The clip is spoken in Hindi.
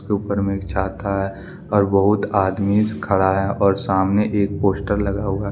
ऊपर में एक छाता है और बहुत आदमीस खड़ा है और सामने एक पोस्टर लगा हुआ --